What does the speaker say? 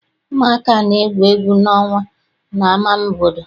Ụmụaka na-egwu egwu ọnwa n'ama obodo.